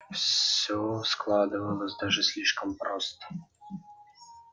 всё складывалось даже слишком просто